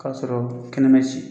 K'a sɔrɔ kɛɲɛ ma ci